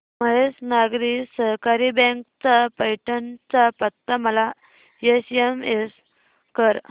Mahesh Nagari Sahakari bank चा पैठण चा पत्ता मला एसएमएस कर